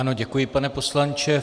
Ano, děkuji, pane poslanče.